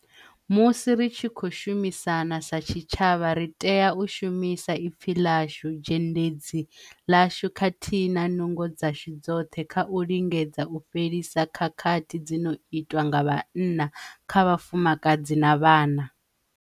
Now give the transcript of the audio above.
Musi ri tshi khou shumisana sa tshitshavha, ri tea u shumisa ipfi ḽashu, zhendedzi ḽashu khathihi na nungo dzashu dzoṱhe kha u lingedza u fhelisa khakhathi dzi no itwa nga vhanna kha vhafumakadzi na vhana.